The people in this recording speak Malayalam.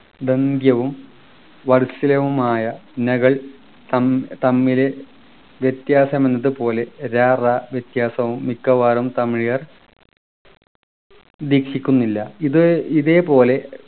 ദന്ത്യവും വത്സലവുമായ നഗൽ തം തമ്മിലെ വ്യത്യാസം എന്നതുപോലെ ര റ വ്യത്യാസവും മിക്കവാറും തമിഴർ ദീക്ഷിക്കുന്നില്ല ഇത് ഇതേപോലെ